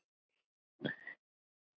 Að venju.